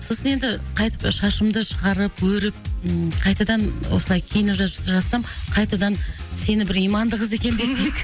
сосын енді қайтып шашымды шығарып өріп қайтадан осылай жатсам қайтадан сені бір иманды қыз екен десек